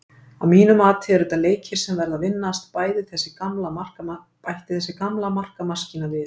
Að mínu mati eru þetta leikir sem verða að vinnast, bætti þessi gamla markamaskína við.